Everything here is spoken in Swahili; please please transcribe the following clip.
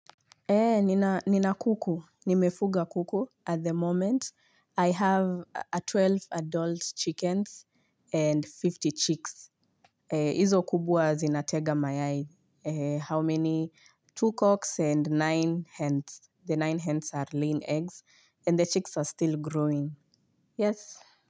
Nina kuku, nimefuga kuku at the moment. I I have kumi na mbili adult chickens and hamsini chicks. Izo kubwa zinatega mayai. How many? Two cocks and nine hens. The nine hens are layin eggs and the chicks are still growing. Yes.